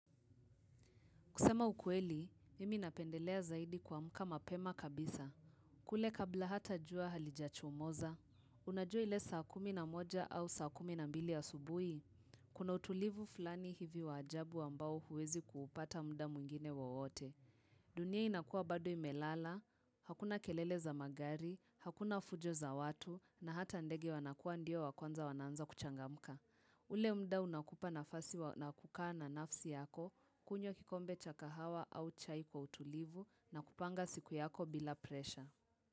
Kusema ukweli, mimi napendelea zaidi kuamka mapema kabisa. Kule kabla hata jua halijachomoza, unajua ile saa kumi na moja au saa kumi na mbili asubuhi, kuna utulivu fulani hivi wa ajabu ambao huwezi kuupata muda mwingine wowote. Dunia inakua bado imelala, hakuna kelele za magari, hakuna fujo za watu, na hata ndege wanakuwa ndio wa kwanza wana anza kuchangamka. Ule muda unakupa nafasi wa na kukaa nafsi yako, kunywa kikombe cha kahawa au chai kwa utulivu na kupanga siku yako bila presha.